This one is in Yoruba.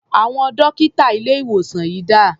Àwọn dọ́kítà ilé-ìwòsàn yìí dà?